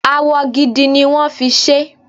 Awọ gidi ni wón fi ṣé.